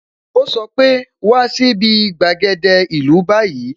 O sọ pe "wá sí bi gbàgede ìlú báyìí"